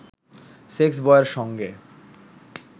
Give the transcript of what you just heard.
সেক্সবয়ের সঙ্গে